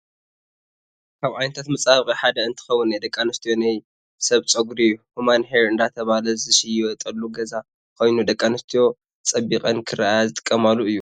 ካብ ዓይነታት መፃባበቂ ሓደ እንትከውን ናይ ደቂ ኣንስትዮ ናይ ሰብ ፀጉሪ(ሁማን ሄር) እንዳተባለ ዝሽየጠሉ ገዛ ኮይኑ ደቂ ኣንስትዮ ፀቢቀን ክረኤየ ዝጥቀመሉእዩ።